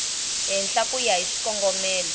henhla ku ya hi xikongomelo